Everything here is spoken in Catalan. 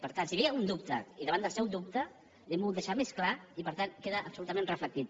per tant si hi havia algun dubte i davant del seu dubte li ho hem volgut deixar més clar i per tant queda absolutament reflectit